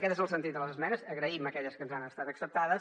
aquest és el sentit de les esmenes agraïm aquelles que ens han estat acceptades